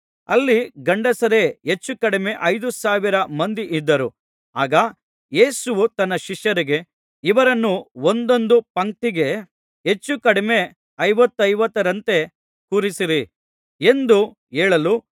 ಅಲ್ಲಿ ಗಂಡಸರೇ ಹೆಚ್ಚು ಕಡಿಮೆ ಐದು ಸಾವಿರ ಮಂದಿಯಿದ್ದರು ಆಗ ಯೇಸುವು ತನ್ನ ಶಿಷ್ಯರಿಗೆ ಇವರನ್ನು ಒಂದೊಂದು ಪಂಕ್ತಿಗೆ ಹೆಚ್ಚುಕಡಿಮೆ ಐವತ್ತೈವತ್ತರಂತೆ ಕೂರಿಸಿರಿ ಎಂದು ಹೇಳಲು